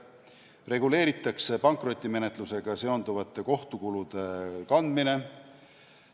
Reguleeritakse pankrotimenetlusega seonduvate kohtukulude kandmine.